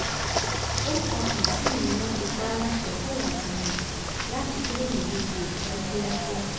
home office yìí ni wọ́n ti pa á láṣẹ fóun àtọmọ ẹ̀ láti kúrò ní uk ní kíákíá